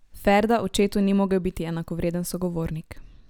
Ferda očetu ni mogel biti enakovreden sogovornik.